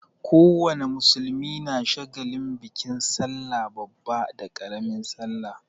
Ko wane musulmi na shagalin bikin sallah babba da ƙaramin sallah.